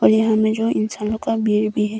यहां में जो इंसान लोग का भीड़ भी है।